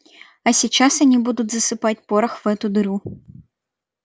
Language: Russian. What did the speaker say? а сейчас они будут засыпать порох в эту дыру